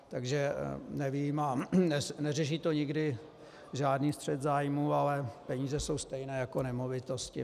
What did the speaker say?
Takže nevím, a neřeší to nikdy žádný střet zájmů, ale peníze jsou stejné jako nemovitosti.